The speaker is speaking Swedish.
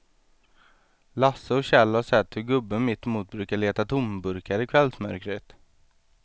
Lasse och Kjell har sett hur gubben mittemot brukar leta tomburkar i kvällsmörkret.